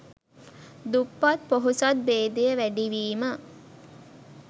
දුප්පත් පොහොසත් භේදය වැඩිවීම